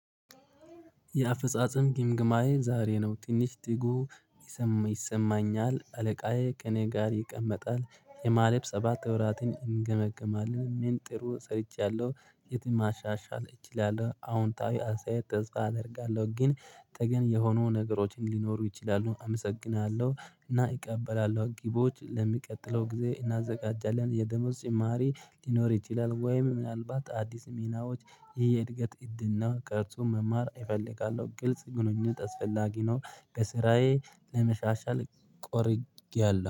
የአፈጻጸም ግምግማዬ ዛሬ ነው ትንሽ ትጉ ይሰማኛል አለቃዬ ከኔ ጋር ይቀመጣል። የማሌብ ሰባት ወራትን እንገመግማለን ምን ጥሩ ሰርቻለሁ። የት ማሻሻል እችላለሁ? አዎንታዊ አሳይ ተስፋ አደርጋለሁ። ግን ተገን የሆኑ ነገሮችን ሊኖሩ ይችላሉ። አመሰግናለሁ እና እቀበላለሁ ግቦች ለሚቀጥለው ጊዜ እናዘጋጃለን። የደሞዝ ጭማሪ ሊኖር ይችላል። ወይም ምናልባት አዲስ ሚናዎች ይሄ የእድገት እድል ነው። ከርሱ መማር እፈልጋለሁ። ግልጽ ግንኙነት ተስፈላጊ ነው። ከስራየ ለመሻሻል ቆርጫያለሁ